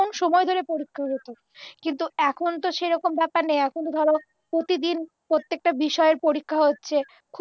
ক্ষণ সময় ধরে পরীক্ষা হত কিন্তু এখন তো সেরকম ব্যাপার নেই এখন ধরো প্রতিদিন প্রত্যেকটা বিষয়ে পরীক্ষা হচ্ছে